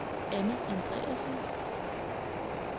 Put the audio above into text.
Annie Andreassen